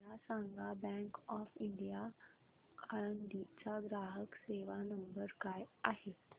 मला सांगा bank of India Alandi चा ग्राहक सेवा नंबर काय आहे